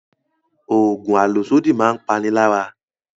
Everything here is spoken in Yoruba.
Oògùn àlòsódì máa ń pani lára